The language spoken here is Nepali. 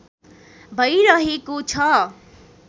भैरहेको छ